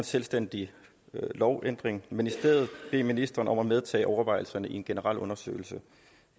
selvstændig lovændring men i stedet bede ministeren om at medtage overvejelserne i en generel undersøgelse